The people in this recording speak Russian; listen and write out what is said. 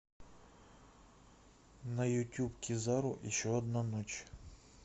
на ютуб кизару еще одна ночь